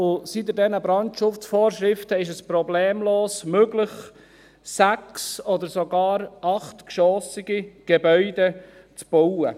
Seit es diese Brandschutzvorschriften gibt, ist es problemlos möglich, sechs- oder sogar achtgeschossige Gebäude zu bauen.